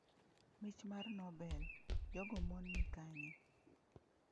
Mich mar Nobel: Jogo mon ni kanye?